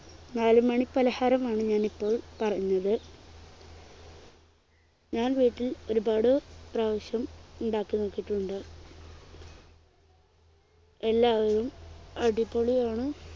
നാലുമണി പലഹാരമാണ് ഞാനിപ്പോൾ പറഞ്ഞത് ഞാൻ വീട്ടിൽ ഒരുപാട് പ്രാവശ്യം ഉണ്ടാക്കി നോക്കിട്ടുണ്ട് എല്ലാവരും അടിപൊളിയാണ്